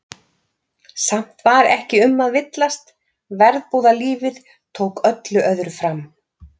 Samt var ekki um að villast, verbúðalífið tók öllu öðru fram.